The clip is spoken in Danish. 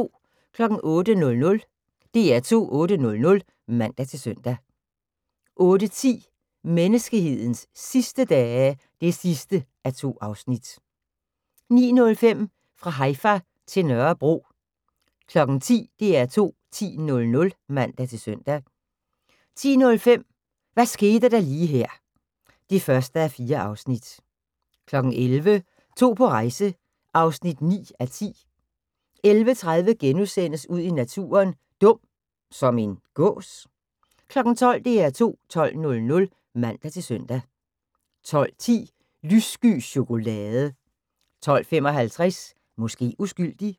08:00: DR2 8:00 (man-søn) 08:10: Menneskehedens sidste dage (2:2) 09:05: Fra Haifa til Nørrebro 10:00: DR2 10.00 (man-søn) 10:05: Hvad skete der lige her (1:4) 11:00: To på rejse (9:10) 11:30: Ud i naturen: Dum – som en gås? * 12:00: DR2 12.00 (man-søn) 12:10: Lyssky chokolade 12:55: Måske uskyldig